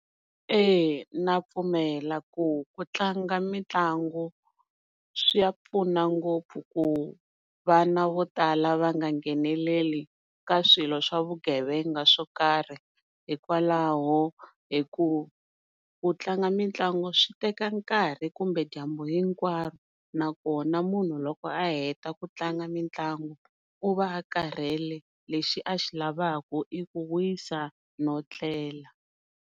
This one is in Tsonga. E na pfumela ku ku tlanga mitlangu swi ya pfuna ngopfu ku vana vo tala va nga ngheneleli ka swilo swa vugevenga swo karhi hikwalaho hi ku ku tlanga mitlangu swi teka nkarhi kumbe dyambu hinkwaro nakona munhu loko a heta ku tlanga mitlangu u va a karhele lexi a xi lavaka i ku wisa no tlela.